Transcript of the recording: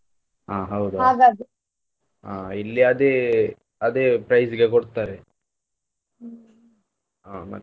ಹಾ ಹಾ ಇಲ್ಲಿ ಅದೇ ಅದೇ price ಗೆ ಕೊಡ್ತಾರೆ ಹಾ ಮತ್ತೆ.